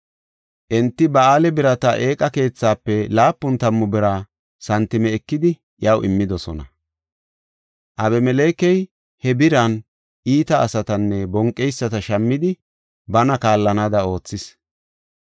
Enti Ba7aal-Biriita eeqa keethaafe laapun tammu bira santime ekidi iyaw immidosona. Abimelekey he biran iita asatanne bonqeyisata shammidi bana kaallanaada oothis.